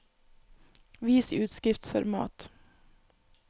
Vis utskriftsformat